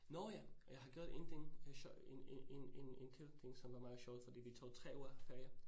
Nåh ja og jeg har gjort én ting øh en en en en en kedelig ting, som er meget sjov fordi vi tog 3 uger ferie